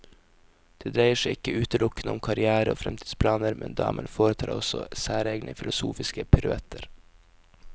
Det dreier seg ikke utelukkende om karrière og fremtidsplaner, men damen foretar også særegne filosofiske piruetter.